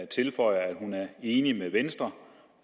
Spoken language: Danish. tilføjer at hun er enig med venstre